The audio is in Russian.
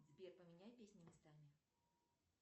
сбер поменяй песни местами